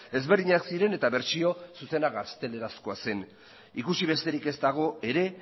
ezberdinak ziren eta bertsio zuzena gaztelerazkoa zen ikusi besterik ez dago ere